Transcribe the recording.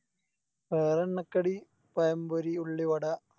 വേറെ എണ്ണക്കടി പയം പൊരി ഉള്ളിവട